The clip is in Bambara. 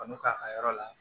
Kan'u k'a ka yɔrɔ la